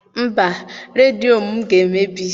Mba, redio m ga-emebi.